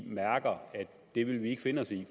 mærker at det vil vi ikke finde os i